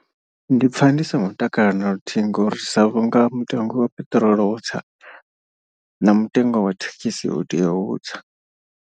Ndi pfha ndi songo takala naluthihi ngori sa vhunga mutengo wa peṱirolo wo tsa na mutengo wa thekhisi u tea u tsa.